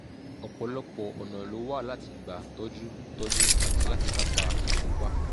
ọ̀pọ̀lọpọ̀ ọ̀nà ló wà láti gbà tọ́jú tọ́jú àti láti kápá ìfúnpá